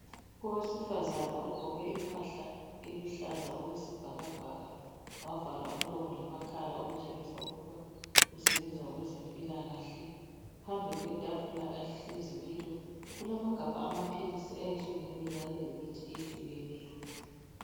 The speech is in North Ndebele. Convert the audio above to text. Owesifazana ogqoke impahla eluhlaza okwesibhakabhaka, wavala umlomo lamakhala okutshengisa ukuba usebenza kwezempilakahle. Phambi kwetafula ahlezi kilo, kulamagabha amaphilisi ayehlukeneyo kanye lemithi eyehlukeneyo.